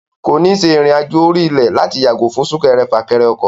Kò ní ṣe ìrìn àjò orí ilẹ̀ láti yàgò fún súnkẹrẹfàkẹrẹ ọkọ̀.